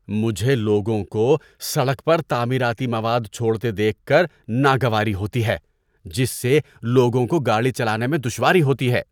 مجھے لوگوں کو سڑک پر تعمیراتی مواد چھوڑتے دیکھ کر ناگواری ہوتی ہے جس سے لوگوں کو گاڑی چلانے میں دشواری ہوتی ہے۔